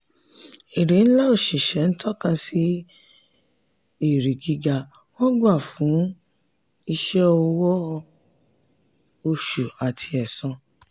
èrè ńlá òṣìṣẹ́ ilé-iṣẹ́ tọ́ka sí èrè gíga wọn gbà fún iṣẹ́ owó oṣù àti ẹ̀san.